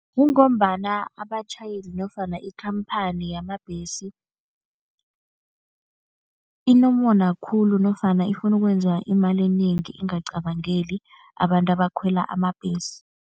Kungombana abatjhayeli nofana ikhamphani yamabhesi inomona khulu nofana ifuna ukwenza imali enengi, ingacabangeli abantu abakhwela amabhesi.